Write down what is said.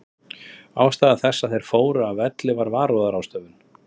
Ástæða þess að þeir fóru af velli var varúðarráðstöfun.